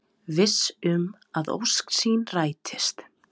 Viss um að ósk sín rætist.